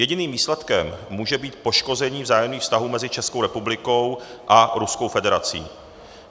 Jediným výsledkem může být poškození vzájemných vztahů mezi Českou republikou a Ruskou federací.